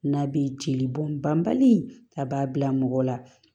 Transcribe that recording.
N'a bɛ jeli bɔn banbali a b'a bila mɔgɔ la